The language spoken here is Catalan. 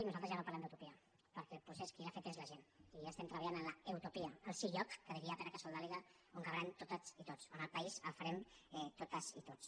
nosaltres ja no parlem d’utopia perquè el procés qui l’ha fet és la gent i estem treballant en l’ eutopia el sí lloc que diria pere casaldàliga on cabrem totes i tots on el país el farem totes i tots